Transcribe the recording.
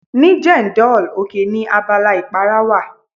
Ní Jendol, oke ni abala ìpara wà.